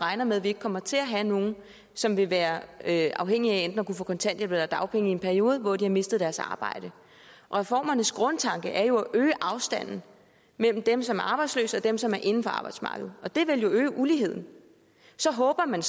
regner med at vi ikke kommer til at have nogen som vil være være afhængige af enten at få kontanthjælp eller dagpenge i en periode hvor de har mistet deres arbejde reformernes grundtanke er jo at øge afstanden mellem dem som er arbejdsløse og dem som er inden for arbejdsmarkedet og det vil jo øge uligheden så håber man